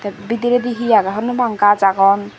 bidiredi he agon honno nw pang gaj agon.